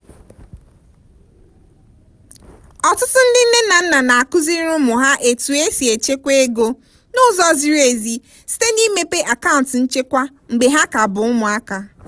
ọtụtụ ndị nne na nna na-akụziri ụmụ ha etu esi echekwa ego n'ụzọ ziri ezi site n'imepe akaụntụ nchekwa mgbe ha ka bụ ụmụaka